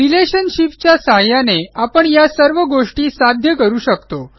relationships च्या सहाय्याने आपण या सर्व गोष्टी साध्य करू शकतो